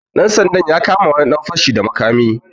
Ɗan sandan ya kama wani dan fashi da makami.